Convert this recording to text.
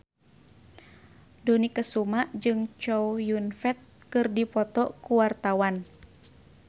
Dony Kesuma jeung Chow Yun Fat keur dipoto ku wartawan